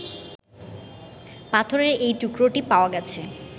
পাথরের এই টুকরোটি পাওয়া গেছে